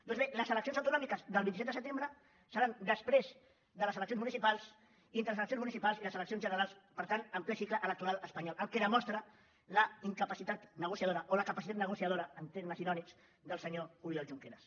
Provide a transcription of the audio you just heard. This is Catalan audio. doncs bé les eleccions autonòmiques del vint set de setembre seran després de les eleccions municipals i entre les eleccions municipals i les eleccions generals per tant en ple cicle electoral espanyol la qual cosa demostra la incapacitat negociadora o la capacitat negociadora en termes irònics del senyor oriol junqueras